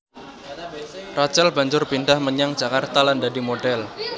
Rachel banjur pindhah menyang Jakarta lan dadi modhèl